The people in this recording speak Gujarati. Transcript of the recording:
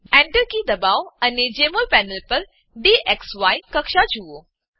Enter કી દબાવો અને જેમોલ પેનલ પર ડીએક્સી કક્ષા જુઓ